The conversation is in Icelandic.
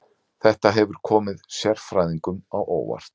Þetta hefur komið sérfræðingum á óvart